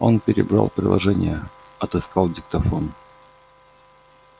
он перебрал приложения отыскал диктофон